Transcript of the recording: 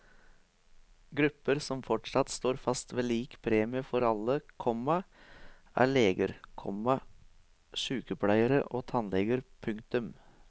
Grupper som fortsatt står fast ved lik premie for alle, komma er leger, komma sykepleiere og tannleger. punktum